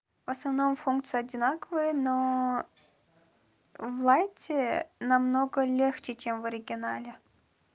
в основном функции одинаковые но в лайте намного легче чем в оригинале